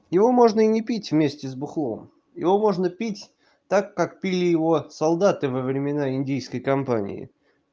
его можно и не пить вместе с алкоголем его можно пить так как пили его солдаты во времена индийской компании